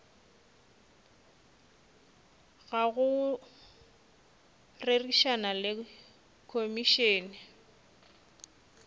ga go rerišana le komišene